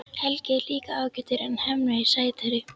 Helgi er líka ágætur en Hemmi er sætari.